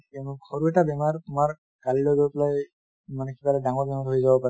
সৰু এটা বেমাৰ তোমাৰ কালিলৈ গৈ পেলাই মানে কিবা এটা ডাঙৰ বেমাৰ হৈ যাব পাৰে |